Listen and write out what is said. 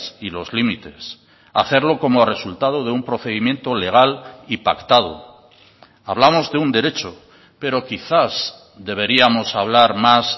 y los límites hacerlo como resultado de un procedimiento legal y pactado hablamos de un derecho pero quizás deberíamos hablar más